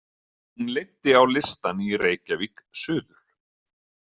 Hún leiddi á listann í Reykjavík suður.